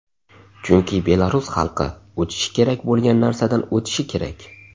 Chunki belarus xalqi o‘tishi kerak bo‘lgan narsadan o‘tishi kerak.